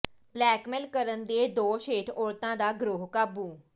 blackmail ਕਰਨ ਦੇ ਦੋਸ਼ ਹੇਠ ਔਰਤਾਂ ਦਾ ਗਰੋਹ ਕਾਬੂ